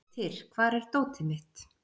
Beitir, hvar er dótið mitt?